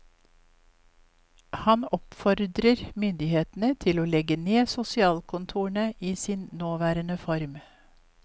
Han oppfordrer myndighetene til å legge ned sosialkontorene i sin nåværende form.